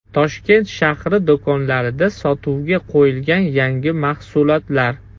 Toshkent shahri do‘konlarida sotuvga qo‘yilgan yangi mahsulotlar.